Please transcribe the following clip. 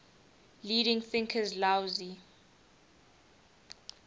leading thinkers laozi